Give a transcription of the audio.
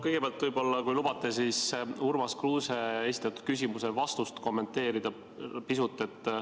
Kõigepealt, kui lubate, siis ma vastust Urmas Kruuse esitatud küsimusele pisut kommenteerin.